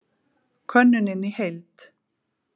Könnunin í heild